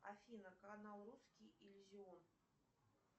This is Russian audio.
афина канал русский иллюзион